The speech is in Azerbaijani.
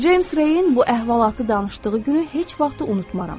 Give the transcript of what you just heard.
Ceyms Reyin bu əhvalatı danışdığı günü heç vaxt unutmaram.